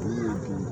I y'a kun